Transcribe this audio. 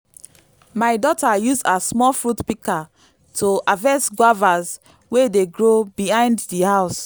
my daughter use her small fruit pika to harvest guavas wey dey grow behind di house